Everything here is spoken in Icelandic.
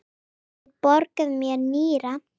Get ég borgað með nýra?